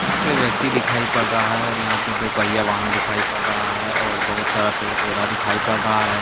यहां पे व्यक्ति दिखाई पड़ रहा है और यहां पे दो पहिया वाहन दिखाई पड़ रहा है और बहुत सारा पेड़-पौधा दिखाई पड़ रहा है।